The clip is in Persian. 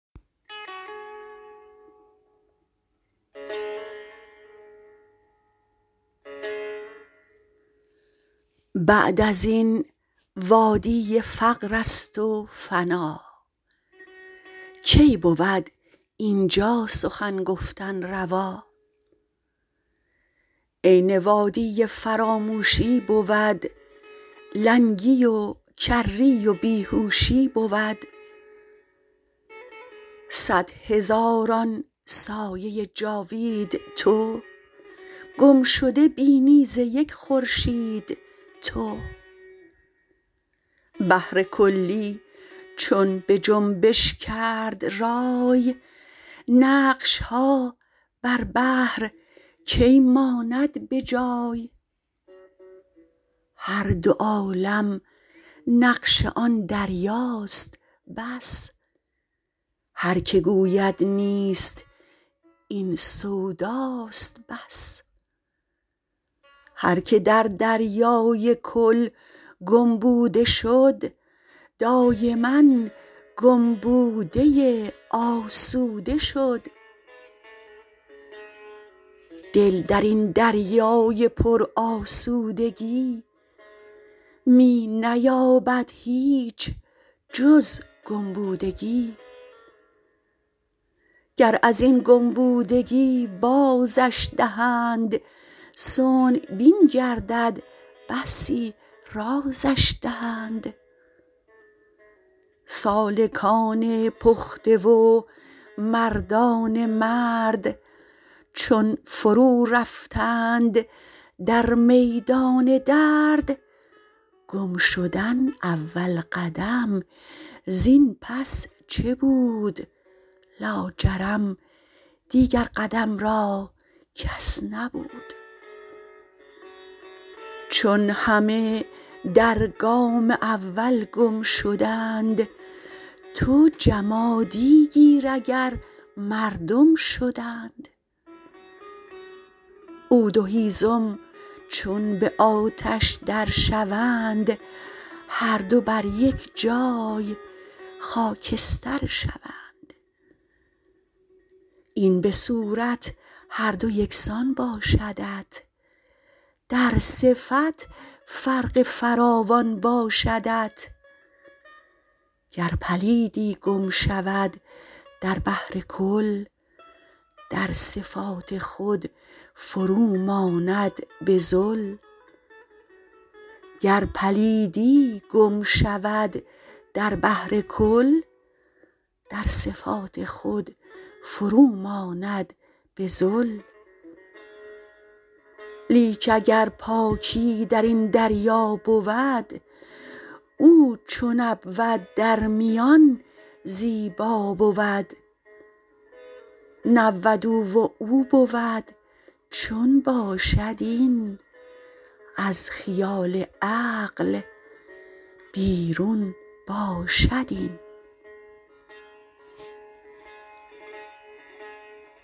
بعد ازین وادی فقرست و فنا کی بود اینجا سخن گفتن روا عین وادی فراموشی بود لنگی و کری و بیهوشی بود صد هزاران سایه جاوید تو گم شده بینی ز یک خورشید تو بحرکلی چون بجنبش کرد رای نقشها بر بحر کی ماند بجای هر دو عالم نقش آن دریاست بس هرک گوید نیست این سوداست بس هرک در دریای کل گم بوده شد دایما گم بوده آسوده شد دل درین دریای پر آسودگی می نیابد هیچ جز گم بودگی گر ازین گم بودگی بازش دهند صنع بین گردد بسی رازش دهند سالکان پخته و مردان مرد چون فرو رفتند در میدان درد گم شدن اول قدم زین پس چه بود لاجرم دیگر قدم را کس نبود چون همه در گام اول گم شدند تو جمادی گیر اگر مردم شدند عود و هیزم چون به آتش در شوند هر دو بر یک جای خاکستر شوند این به صورت هر دو یکسان باشدت در صفت فرق فراوان باشدت گر پلیدی گم شود در بحر کل در صفات خود فروماند بذل لیک اگر پاکی درین دریا بود او چون نبود در میان زیبا بود نبود او و او بود چون باشد این از خیال عقل بیرون باشد این